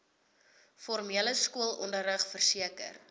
formele skoolonderrig verseker